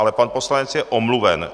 Ale pan poslanec je omluven.